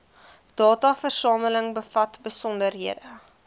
dataversameling bevat besonderhede